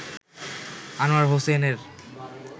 আনোয়ার হোসেনের